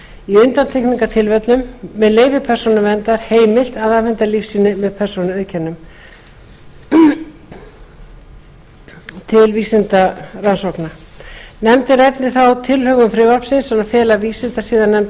í undantekningartilvikum með leyfi persónuverndar heimilt að afhenda lífsýni með persónuauðkennum til vísindarannsókna nefndin ræddi þá tilhögun frumvarpsins að fela vísindasiðanefnd